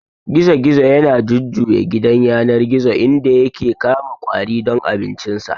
Gizo-gizo yana jujjuya gidan yanar gizo inda yake kama ƙwari don abincinsa.